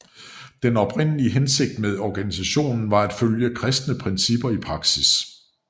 Den oprindelige hensigt med organisationen var at følge kristne principper i praksis